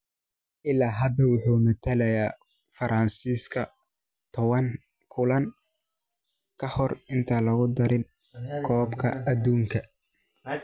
Illaa hadda wuxuu matalay Faransiiska towan kulan ka hor intaan lagu darin kooxda koobka adduunka.